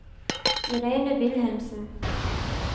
Irene Wilhelmsen